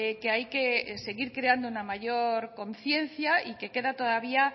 que hay que seguir creando una mayor conciencia y que queda todavía